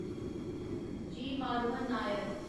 जी. Madhavan Nair